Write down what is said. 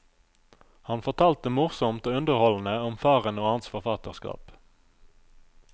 Han fortalte morsomt og underholdende om faren og hans forfatterskap.